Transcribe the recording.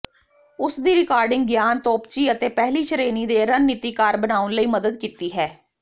ਉਸ ਦੀ ਰਿਕਾਰਡਿੰਗ ਗਿਆਨ ਤੋਪਚੀ ਅਤੇ ਪਹਿਲੀ ਸ਼੍ਰੇਣੀ ਦੇ ਰਣਨੀਤੀਕਾਰ ਬਣਾਉਣ ਲਈ ਮਦਦ ਕੀਤੀ ਹੈ